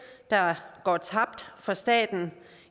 der går tabt for staten